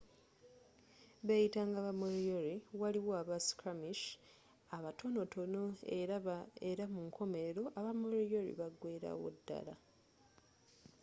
beyitanga ba moriori waliyo aba skirmishe abatonotono era munkomerero aba moriori bagwerawodala